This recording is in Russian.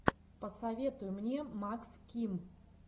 посоветуй мне макс ким